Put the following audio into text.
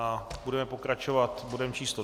A budeme pokračovat bodem číslo